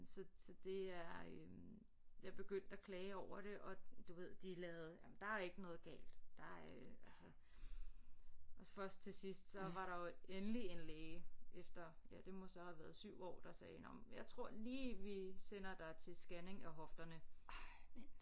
Så så det er øh jeg begyndte at klage over det og du ved de lavede jamen der er ikke noget galt der øh altså og så først til sidst så var der jo endelig en læge efter ja det må så have været 7 år der sagde nåh men jeg tror lige vi sender dig til skanning af hofterne